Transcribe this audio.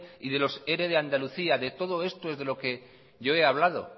y de los ere de andalucía de todo esto es de lo que yo he hablado